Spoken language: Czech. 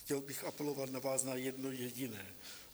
Chtěl bych apelovat na vás, na jedno jediné.